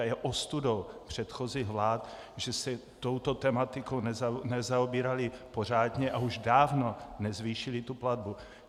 A je ostudou předchozích vlád, že se touto tematikou nezabývaly pořádně a už dávno nezvýšily tu platbu.